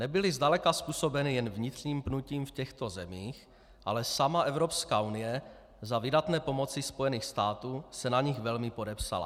Nebyly zdaleka způsobeny jen vnitřním pnutím v těchto zemích, ale sama Evropská unie za vydatné pomoci Spojených států se na nich velmi podepsala.